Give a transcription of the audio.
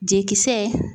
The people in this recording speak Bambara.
Jikisɛ